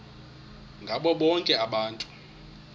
ngabo bonke abantu